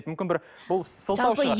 мүмкін бір бұл сылтау